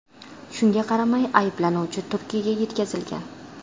Shunga qaramay ayblanuvchi Turkiyaga yetkazilgan.